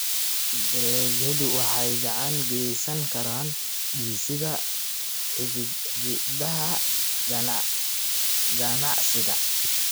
Dalagyadu waxay gacan ka geysan karaan dhisidda xidhiidhada ganacsiga.